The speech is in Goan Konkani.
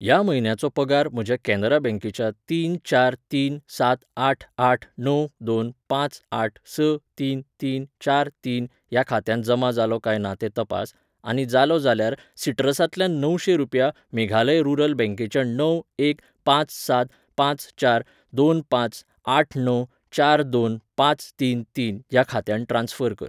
ह्या म्हयन्याचो पगार म्हज्या कॅनरा बँकेच्या तीन चार तीन सात आठ आठ णव दोन पांच आठ स तीन तीन चार तीन ह्या खात्यांत जमा जालो काय ना तें तपास, आनी जालो जाल्यार सिट्रसांतल्यान णवशें रुपया मेघालय रुरल बँकेच्या णव एक पांच सात पांच चार दोन पांच आठ णव चार दोन पांच तीन तीन ह्या खात्यांत ट्रान्स्फर कर.